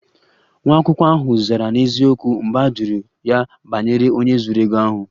Nwa akwụkwọ ahụ zara n'eziokwu mgbe a jụrụ ya banyere onye zuru ego ahụ